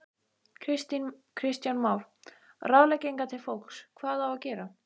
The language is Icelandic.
Kristján Már: Ráðleggingar til fólks, hvað á að gera?